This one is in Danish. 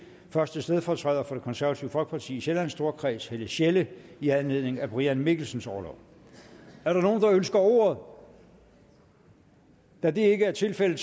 første stedfortræder for det konservative folkeparti i sjællands storkreds helle sjelle i anledning af brian mikkelsens orlov er der nogen der ønsker ordet da det ikke er tilfældet